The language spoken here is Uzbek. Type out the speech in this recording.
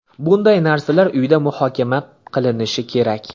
Bunday narsalar uyda muhokama qilinishi kerak.